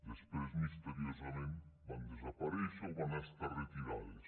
després misteriosament van desaparèixer o van ser retirades